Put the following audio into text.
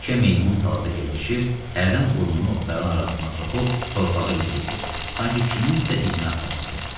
Yekə meymun talada gəzişir, hərdən burnunu otların arasına soxub torpağı iliyirdi, sanki kiminsə izini axtarırdı.